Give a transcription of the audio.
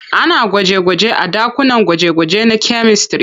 Ana gwaje-gwanje a ɗakunan gwaje-gwaje na kyamistare.